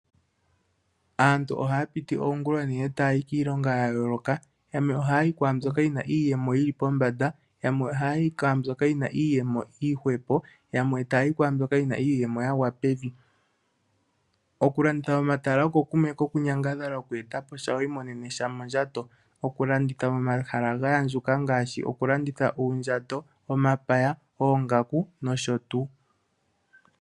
Aantu ohaya piti oongula oonene taya yi kiilonga yayooloka. Yamwe ohaya yi kwaambyoka yi na iiyemo yi li pombanda, yamwe ohaya yi kwaambyoka yi na iiyemo iihwepo, yamwe taya yi kwaambyoka yi na iiyemo ya gwa pevi. Okulanditha momatala oko kumwe kokunyangadhala, okweeta po sha wu imonene sha mondjato. Okulanditha momatala ga andjuka ngaashi okulanditha uundjato, omapaya, oongaku nosho tuu.